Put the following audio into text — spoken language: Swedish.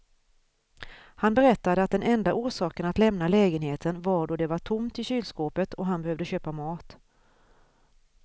Han berättade att den enda orsaken att lämna lägenheten var då det var tomt i kylskåpet och han behövde köpa mat.